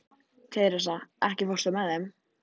Teresa, ekki fórstu með þeim?